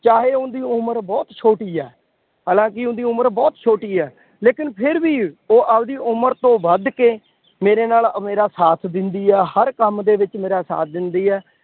ਚਾਹੇ ਉਹਦੀ ਉਮਰ ਬਹੁਤ ਛੋਟੀ ਹੈ। ਹਾਲਾਂਕਿ ਉਹਦੀ ਉਮਰ ਬਹੁਤ ਛੋਟੀ ਹੈ। ਲੇਕਿਨ ਫਿਰ ਵੀ ਉਹ ਆਪਦੀ ਉਮਰ ਤੋਂ ਵੱਧ ਕੇ ਮੇਰੇ ਨਾਲ ਮੇਰਾ ਸਾਥ ਦਿੰਦੀ ਹੈ। ਹਰ ਕੰਮ ਦੇ ਵਿੱਚ ਮੇਰਾ ਸਾਥ ਦਿੰਦੀ ਹੈ।